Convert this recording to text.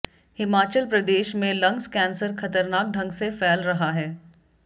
हिमाचल प्रदेश में lungs cancer खतरनाक ढंग से फैल रहा है